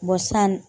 san